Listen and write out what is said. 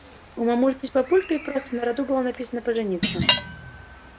у мамульки с папулькой просто на роду было написано пожениться